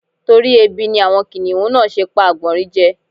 Torí ebi ni àwọn kìnìhún náà ṣe pa àgbọ̀nrín je.